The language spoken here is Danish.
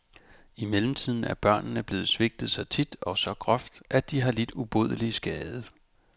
I mellemtiden er børnene blevet svigtet så tit og så groft, at de har lidt ubodelig skade.